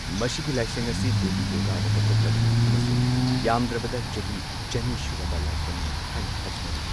ꯃꯁꯤꯒꯤ ꯂꯥꯏꯁꯪ ꯑꯁꯤ ꯗꯦꯕꯤ ꯗꯨꯔꯒꯥꯗ ꯀꯠꯊꯣꯛꯂꯕꯅꯤ ꯑꯃꯁꯨꯡ ꯌꯥꯝꯗ꯭ꯔꯕꯗ ꯆꯍꯤ ꯆꯅꯤ ꯁꯨꯔꯕ ꯂꯥꯏꯁꯪꯅꯤ ꯍꯥꯏꯅ ꯊꯥꯖꯅꯔꯤ꯫